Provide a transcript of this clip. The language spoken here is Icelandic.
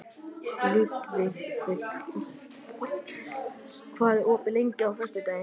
Ludvig, hvað er opið lengi á föstudaginn?